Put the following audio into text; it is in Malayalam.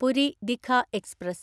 പുരി ദിഘ എക്സ്പ്രസ്